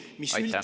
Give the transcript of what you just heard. Aitäh!